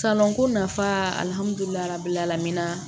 ko nafa